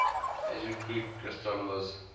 ancient greek astrologers